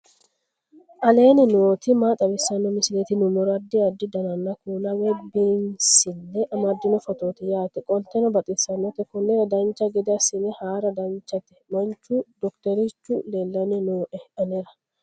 aleenni nooti maa xawisanno misileeti yinummoro addi addi dananna kuula woy biinsille amaddino footooti yaate qoltenno baxissannote konnira dancha gede assine haara danchate manchu dokiterchu leellanni nooe anera